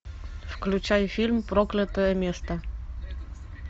включай фильм проклятое место